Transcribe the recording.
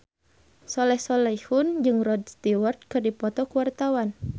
Soleh Solihun jeung Rod Stewart keur dipoto ku wartawan